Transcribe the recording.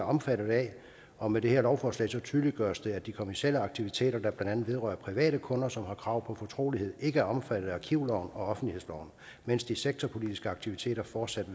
omfattet af og med det her lovforslag tydeliggøres det at de kommercielle aktiviteter der blandt andet vedrører private kunder som har krav på fortrolighed ikke er omfattet af arkivloven og offentlighedsloven mens de sektorpolitiske aktiviteter fortsat